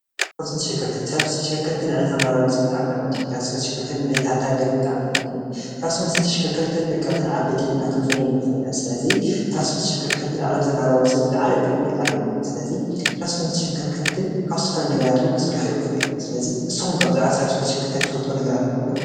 ትራንስፖርትን ተሽከርከርቲ ንዕለታዊ ናብራ ወዲ ሰብ ብጣዕሚ ጠቐምቲ እዮም፡፡ ትራንስፖርትን ተሽከርከርትን ንዕብየት ሓንቲ ሃገር ውን ብጣዕሚ ጠቐምቲ እዮም፡፡ ትራንስፖርትን ተሽከርከርትን ደቀቅትን ዓበይትን ኢልና ክንፈልዮም ንኽእል ኢና፡፡ ስለዚ ትራንስፖርትን ተሽከርከርትን ንዕለታዊ ናብራ ወዲ ሰብ ዝላዓለ ጥቕሚ ኣለዎ፡፡ ስለዚ ትራንስፖርትን ተሽከርከርትን ካብ ዝተፈላለዩ ነገራት ውን ክስርሑ ይኽእሉ እዮም፡፡ ስለዚ ንስኹም ከ ብዛዕባ ትራንስፖርትን ተሽከርከርትን ትፈልጥዎ ኣሎ ዶ?